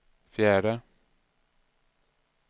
fjärde